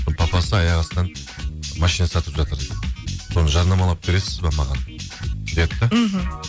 бір папасы аяқ астынан машина сатып жатыр дейді соны жарнамалап бересіз бе маған деді де мхм